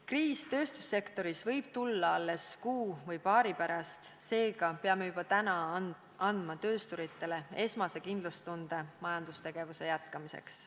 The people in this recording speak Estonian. Kriis tööstussektoris võib tulla alles kuu või paari pärast, seega peame juba täna andma töösturitele esmase kindlustunde majandustegevuse jätkamiseks.